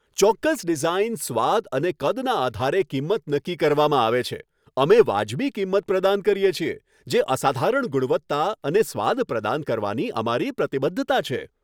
ચોક્કસ ડિઝાઇન, સ્વાદ અને કદના આધારે કિંમત નક્કી કરવામાં આવે છે. અમે વાજબી કિંમત પ્રદાન કરીએ છીએ, જે અસાધારણ ગુણવત્તા અને સ્વાદ પ્રદાન કરવાની અમારી પ્રતિબદ્ધતા છે.